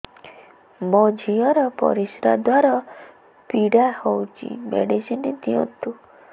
ମୋ ଝିଅ ର ପରିସ୍ରା ଦ୍ଵାର ପୀଡା ହଉଚି ମେଡିସିନ ଦିଅନ୍ତୁ